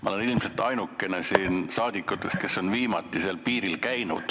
Ma olen ilmselt siin ainuke saadik, kes on hiljuti seal piiril käinud.